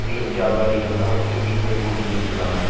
மீன் வியாபாரிகள்ளா வந்துட்டு மீன் வெட்டி குடுத்துகிட்டுருக்காங்க.